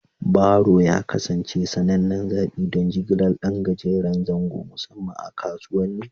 Baro ya kasance sanannen zaɓi don jigilar ɗan gajeren zango, musamman a kasuwanni.